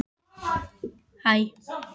Spurning hvort að þetta tengist því?